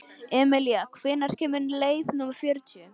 Emilía, hvenær kemur leið númer fjörutíu?